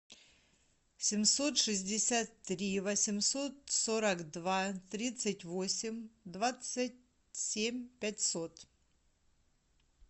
семьсот шестьдесят три восемьсот сорок два тридцать восемь двадцать семь пятьсот